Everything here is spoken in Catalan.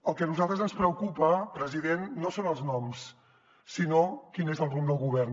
el que a nosaltres ens preocupa president no són els noms sinó quin és el rumb del govern